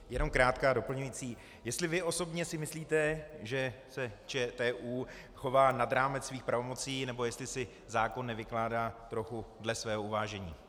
Jenom krátká doplňující - jestli vy osobně si myslíte, že se ČTÚ chová nad rámec svých pravomocí nebo jestli si zákon nevykládá trochu dle svého uvážení.